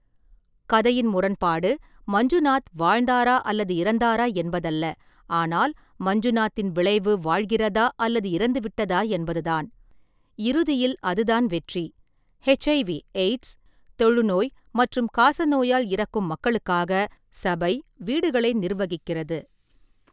கதையின் முரண்பாடு மஞ்சுநாத் வாழ்ந்தாரா அல்லது இறந்தாரா என்பதல்ல, ஆனால் மஞ்சுநாத்தின் விளைவு வாழ்கிறதா அல்லது இறந்துவிட்டதா என்பது தான், இறுதியில் அதுதான் வெற்றி. எச். ஐ. வி/எய்ட்ஸ், தொழுநோய் மற்றும் காசநோயால் இறக்கும் மக்களுக்காக சபை வீடுகளை நிர்வகிக்கிறது.